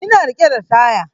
Ina riƙe da taya